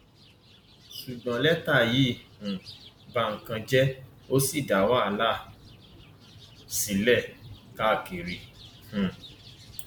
ṣùgbọn lẹtà yìí um ba nǹkan jẹ ó sì dá wàhálà sílẹ káàkiri um